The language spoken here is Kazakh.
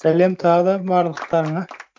сәлем тағы да барлықтарыңа